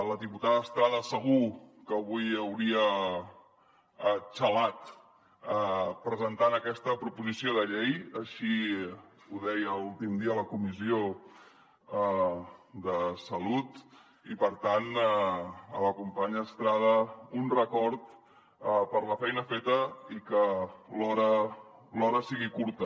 la diputada estrada segur que avui hauria xalat presentant aquesta proposició de llei així ho deia l’últim dia a la comissió de salut i per tant a la companya estrada un record per la feina feta i que l’hora sigui curta